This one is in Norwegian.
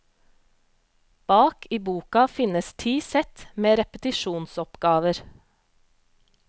Bak i boka finnes ti sett med repetisjonsoppgaver.